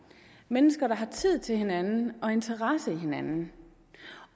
mennesker der har tid til hinanden og interesse for hinanden